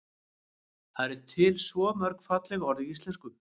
það eru til svo mörg falleg orð í íslenksu